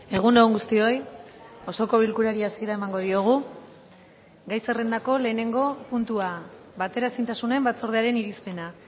egun on guztioi osoko bilkurari hasiera emango diogu gai zerrendako lehenengo puntua bateraezintasunen batzordearen irizpena